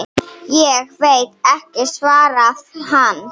Ég veit ekki, svaraði hann.